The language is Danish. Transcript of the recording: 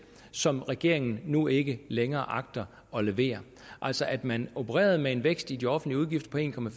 som regeringen nu ikke længere agter at levere altså at man opererede med en vækst i de offentlige udgifter på en